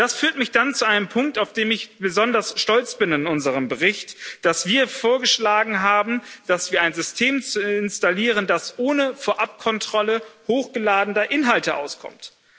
Und das führt mich dann zu einem Punkt, auf den ich besonders stolz bin in unserem Bericht, dass wir vorgeschlagen haben, dass wir ein System installieren, das ohne Vorabkontrolle hochgeladener Inhalte auskommt.